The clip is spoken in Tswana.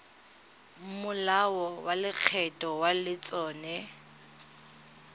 molao wa lekgetho wa letseno